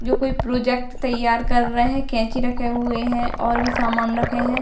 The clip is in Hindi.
जो कोई प्रोजेक्ट तैयार कर रहे हैं कैची रखे हुए हैं और भी सामान रखे हैं।